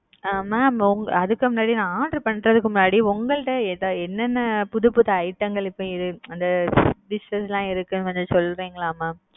அ mam உங் அதுக்கு முன்னாடி நா order பண்றதுக்கு முன்னாடி உங்கள்ட்ட எனென்ன புதுப்புது item ங்கள் இப்ப அது dishes லாம்இருக்கு னு கொஞ்சம்சொல்றீங்களா mam?